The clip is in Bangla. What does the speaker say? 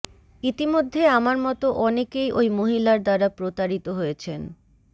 ইতিমধ্যে আমার মতো অনেকেই ওই মহিলার দ্বারা প্রতারিত হয়েছেন